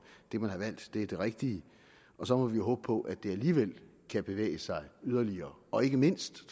det man har valgt er det rigtige så må vi jo håbe på at det alligevel kan bevæge sig yderligere og ikke mindst